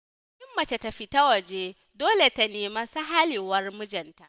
Kafin mace ta fita waje ,dole ta nemi sahhalewar mijinta.